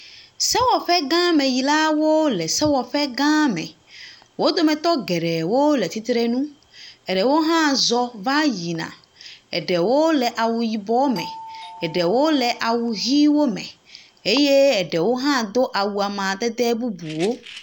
Sewɔƒegãmeyilawo le sewɔƒea gã me. Wo dometɔ geɖewo le tsitre nu. Eɖewo hã zɔ va yina. Eɖewo le awu yibɔ me. eɖewo le awu ʋiwo me eye eɖewo hã do awu amadede bubuwo.